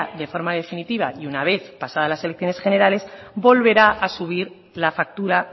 de forma definitiva y una vez pasadas las elecciones generales volverá a subir la factura